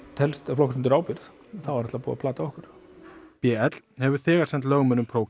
flokkast undir ábyrgð þá er búið að plata okkur b l hefur þegar sent lögmönnum